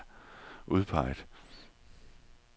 udpeget